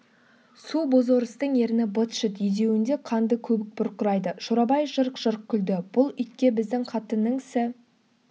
су бозорыстың ерні быт-шыт езуінде қанды көбік бұрқырайды шорабай жырқ-жырқ күлді бұл итке біздің қатынның сі